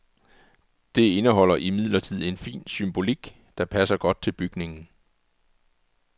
Det indeholder imidlertid en fin symbolik, der passer godt til bygningen.